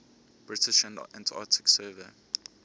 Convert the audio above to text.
british antarctic survey